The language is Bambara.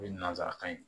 O ye nanzarakan ye